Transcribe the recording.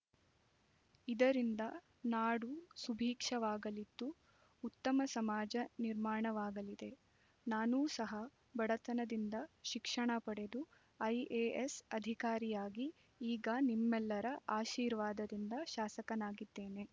ಇದರಿಂದ ನಾಡು ಸುಭಿಕ್ಷವಾಗಲಿದ್ದು ಉತ್ತಮ ಸಮಾಜ ನಿರ್ಮಾಣವಾಗಲಿದೆ ನಾನೂ ಸಹ ಬಡತನದಿಂದ ಶಿಕ್ಷಣ ಪಡೆದು ಐಎಎಸ್ ಅಧಿಕಾರಿಯಾಗಿ ಈಗ ನಿಮ್ಮೆಲ್ಲರ ಆಶೀರ್ವಾದದಿಂದ ಶಾಸಕನಾಗಿದ್ದೇನೆ